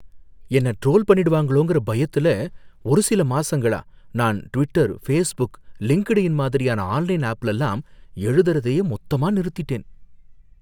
என்னை ட்ரோல் பண்ணிடுவாங்களோங்கற பயத்துல ஒரு சில மாசங்களா நான் Twitter, Facebook, LinkedIn online ஆன்லைன் ஆப்லலாம் எழுதறதையே மொத்தமா நிறுத்திட்டேன்.